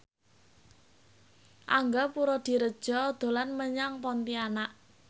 Angga Puradiredja dolan menyang Pontianak